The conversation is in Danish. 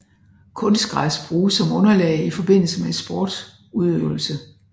Kunstgræs bruges som underlag i forbindelse med sportudøvelse